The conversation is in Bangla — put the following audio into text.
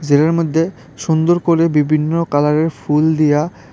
এর মধ্যে সুন্দর করে বিভিন্ন কালারের ফুল দিয়া--